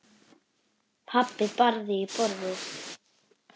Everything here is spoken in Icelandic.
Pabbi barði í borðið.